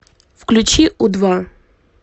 включи у два